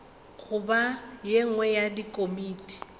goba ye nngwe ya dikomiti